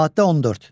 Maddə 14.